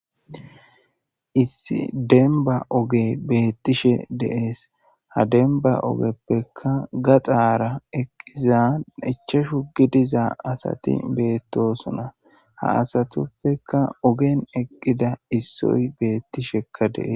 Issi demba oge beettishe deees ha denba ogeppekka gaxaara eqqiza ichashu gidiza asati beettosona ha asatoppekka ogen eqqida issoy beettishekka dees.